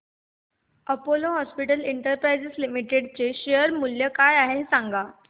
Apollo hospitals enterprise limited चे share मूल्य काय आहे सांगा